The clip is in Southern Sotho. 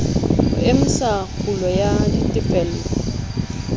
ho emisa kgulo ya ditefello